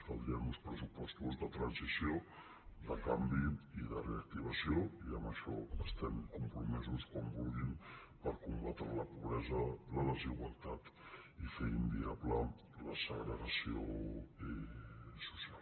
caldrien uns pressupostos de transició de canvi i de reactivació i en això estem compromesos quan vulguin per combatre la pobresa la desigualtat i fer inviable la segregació social